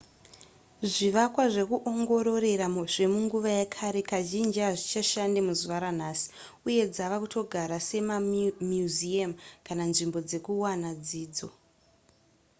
zvivakwa zvekuongororera zvemunguva yekare kazhinji hazvichashande muzuva ranhasi uye dzava kutogara semamuseum kana nzvimbo dzekuwana dzidzo